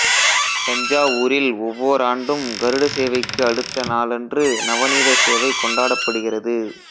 தஞ்சாவூரில் ஒவ்வோராண்டும் கருட சேவைக்கு அடுத்த நாளன்று நவநீத சேவை கொண்டாடப்படுகிறது